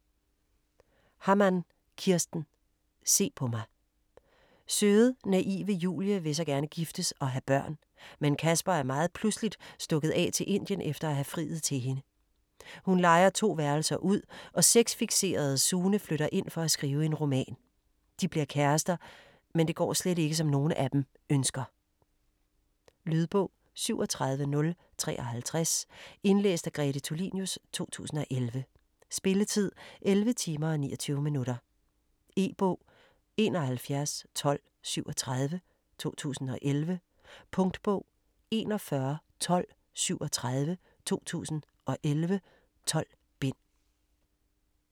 Hammann, Kirsten: Se på mig Søde, naive Julie vil så gerne giftes og have børn, men Casper er meget pludseligt stukket af til Indien efter at have friet til hende. Hun lejer 2 værelser ud, og sex-fikserede Sune flytter ind for at skrive en roman. De bliver kærester, men det går slet ikke som nogen af dem ønsker. Lydbog 37053 Indlæst af Grete Tulinius, 2011. Spilletid: 11 timer, 29 minutter. E-bog 711237 2011. Punktbog 411237 2011. 12 bind.